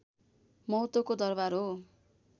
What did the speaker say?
महत्त्वको दरबार हो